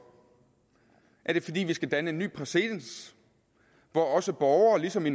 er det fordi vi skal danne en ny præcedens hvor også borgere ligesom i